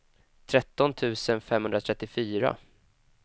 tretton tusen femhundratrettiofyra